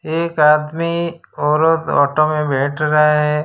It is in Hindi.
एक आदमी औरत ऑटो में बैठ रहा है।